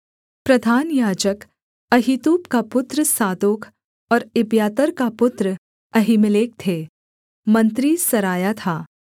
प्रधान याजक अहीतूब का पुत्र सादोक और एब्यातार का पुत्र अहीमेलेक थे मंत्री सरायाह था